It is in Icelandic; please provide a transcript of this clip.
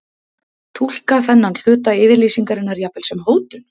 Túlka þennan hluta yfirlýsingarinnar jafnvel sem hótun?